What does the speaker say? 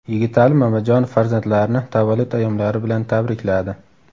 Yigitali Mamajonov farzandlarini tavallud ayyomlari bilan tabrikladi.